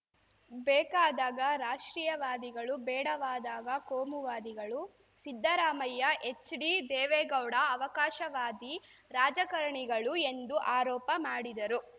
ಬೇಕಾದಾಗ ರಾಷ್ಟ್ರೀಯವಾದಿಗಳು ಬೇಡವಾದಾಗ ಕೋಮುವಾದಿಗಳು ಸಿದ್ದರಾಮಯ್ಯ ಎಚ್‌ಡಿದೇವೇಗೌಡ ಅವಕಾಶವಾದಿ ರಾಜಕಾರಣಿಗಳು ಎಂದು ಆರೋಪ ಮಾಡಿದರು